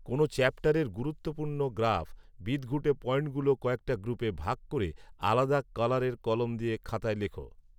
কোন চ্যাপ্টারের গুরুত্বপূর্ণ গ্রাফ, বিদঘুটে পয়েন্টগুলো কয়েকটা গ্রুপে ভাগ করে আলাদা কালারের কলম দিয়ে খাতায় লেখো